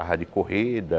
de corrida.